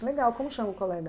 Legal, como chama o colega?